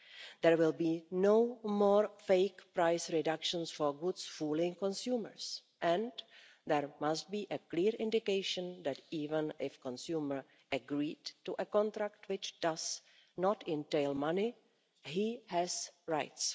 There will be no more fake price reductions for goods fooling consumers, and there must be a clear indication that, even if a consumer agreed to a contract which does not entail money, he has rights.